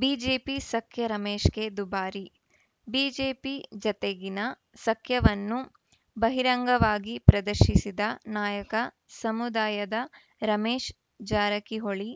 BJP ಸಖ್ಯ ರಮೇಶ್‌ಗೆ ದುಬಾರಿ ಬಿಜೆಪಿ ಜತೆಗಿನ ಸಖ್ಯವನ್ನು ಬಹಿರಂಗವಾಗಿ ಪ್ರದರ್ಶಿಸಿದ ನಾಯಕ ಸಮುದಾಯದ ರಮೇಶ್‌ ಜಾರಕಿಹೊಳಿ